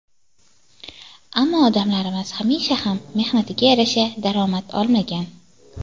Ammo odamlarimiz hamisha ham mehnatiga yarasha daromad olmagan.